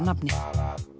nafni